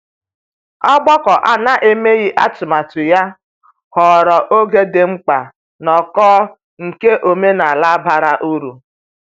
Ọgbakọ a na-emeghị atụmatụ ya ghọrọ oge di mkpa nnoko nke omenala bara uru.